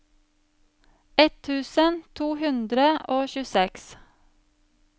ett tusen to hundre og tjueseks